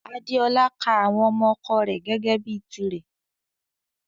Adéọlá ká àwọn ọmọ ọ̀kọ rè gẹ́gẹ bi tìrè.